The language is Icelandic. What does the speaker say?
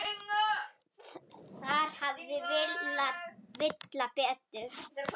Þar hafði Villa betur.